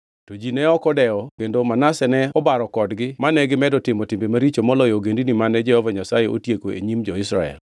To ji ne ok odewo kendo Manase ne obaro kodgi mane gimedo timo timbe maricho moloyo ogendini mane Jehova Nyasaye otieko e nyim jo-Israel.